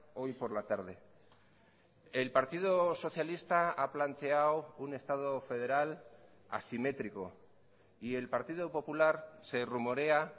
hoy por la tarde el partido socialista ha planteado un estado federal asimétrico y el partido popular se rumorea